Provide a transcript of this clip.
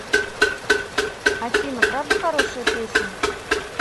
афина правда хорошая песня